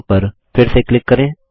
from पर फिर से क्लिक करें